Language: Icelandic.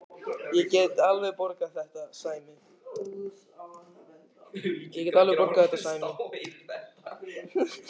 Ég get alveg borgað þetta, Sæmi.